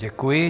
Děkuji.